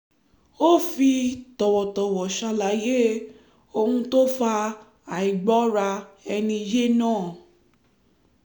ó fi tọ̀wọ̀tọ̀wọ̀ ṣàlàyé ohun tó fa àìgbọ́ra-ẹni-yé náà